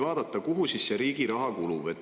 Vaatame, kuhu see riigi raha kulub.